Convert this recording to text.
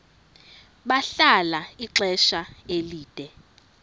bahlala ixesha elide